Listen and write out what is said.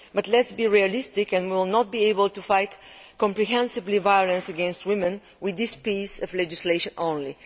But let us be realistic we will not be able to fight comprehensively violence against women with this piece of legislation only.